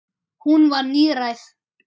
Hún var níræð.